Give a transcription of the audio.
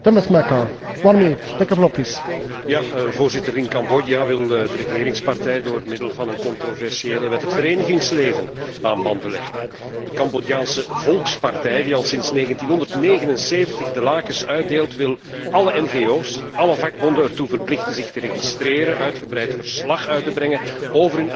Voorzitter, in Cambodja wil de regeringspartij door middel van een controversiële wet het verenigingsleven aan banden leggen. De Cambodjaanse Volkspartij, die al sinds 1979 de lakens uitdeelt, wil alle ngo's en vakbonden ertoe verplichten zich te laten registreren en uitgebreid verslag uit te brengen over hun activiteiten en over hun financiën.